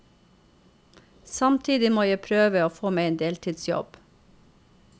Samtidig må jeg prøve å få meg en deltidsjobb.